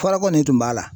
Fɔlɔ kɔni tun b'a la